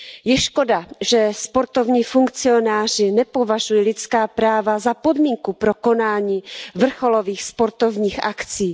Je škoda, že sportovní funkcionáři nepovažují lidská práva za podmínku pro konání vrcholových sportovních akcí.